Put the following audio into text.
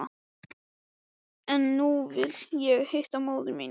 En nú vil ég hitta móður mína.